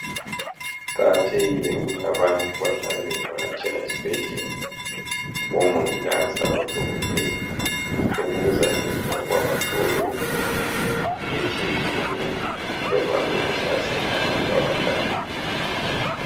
Kuqakathekile ukuthi abantu bahlale bevakatshela esibhedlela kubomongikazi labo dokotela lokhu kuzanceda ukuba bahlolwe imikhuhlane etshiye tshiyeneyo evame ukuhlasela abantu abadala